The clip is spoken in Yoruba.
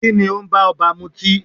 Kíni ó ń b'ọ́ba mutí?